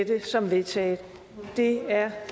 det som vedtaget det er